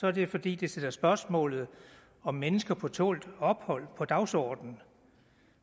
er det fordi det sætter spørgsmålet om mennesker på tålt ophold på dagsordenen